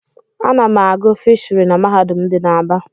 Ana m agụ fishiry n'mahadum dị n'Aba.